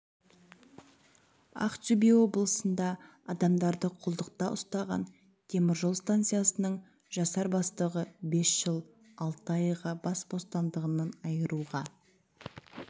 ақтөбе облысында адамдарды құлдықта ұстаған теміржол станциясының жасар бастығы бес жыл алты айға бас бостандығынан айыруға